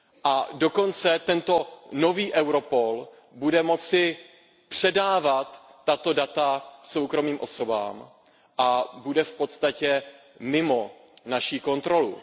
A tento nový Europol bude dokonce moci předávat tato data soukromým osobám a bude v podstatě mimo naši kontrolu.